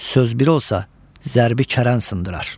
Söz bir olsa, zərbi kərən sındırar.